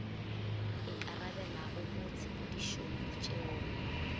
ikarabelago mo tshepedišong le tšeong